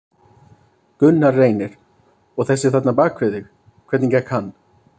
Gunnar Reynir: Og þessi þarna bak við þig, hvernig gekk hann?